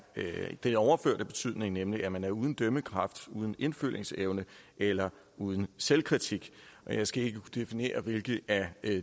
den overførte betydning nemlig at man er uden dømmekraft uden indfølingsevne eller uden selvkritik jeg skal ikke definere hvilken af